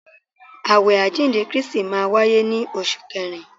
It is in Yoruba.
Awẹ àjíǹde Kristi máa wáyé ní oṣù kẹrin.